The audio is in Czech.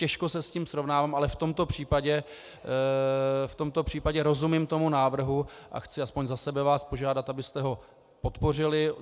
Těžko se s tím srovnávám, ale v tomto případě rozumím tomu návrhu a chci aspoň za sebe vás požádat, abyste ho podpořili.